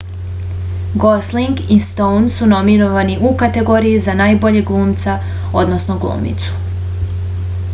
gosling i stoun su nominovani u kategoriji za najboljeg glumca odnosno glumicu